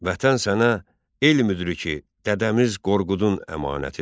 Vətən sənə elm müdriki Dədəmiz Qorqudun əmanətidir.